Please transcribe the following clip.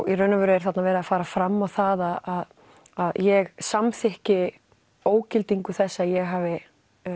í raun og veru er þarna verið að fara fram á það að ég samþykki ógildingu þess að ég hafi